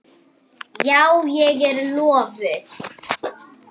Já, ég er lofuð.